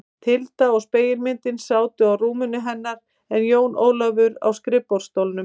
Tilda og spegilmyndin sátu á rúminu hennar en Jón Ólafur á skrifborðsstólnum.